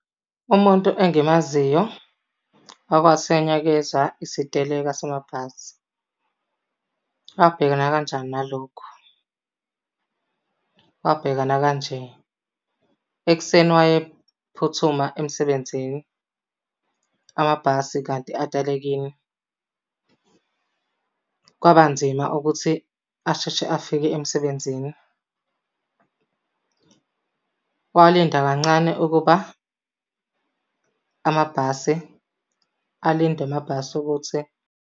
Umuntu engimaziyo owake wathinyakezwa isiteleka samabhasi, wabhekana kanjani nalokho? Wabhekana kanje, ekuseni wayephuthuma emsebenzini, amabhasi kanti atelekile. kwabanzima ukuthi asheshe afike emsebenzini. Walinda kancane ukuba amabhasi alinde amabhasi ukuthi.